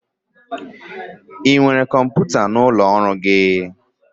Ị nwere kọmputa n'ụlọ ọrụ gị?